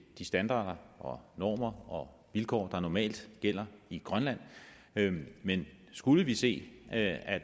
de standarder normer og vilkår der normalt gælder i grønland men skulle vi se at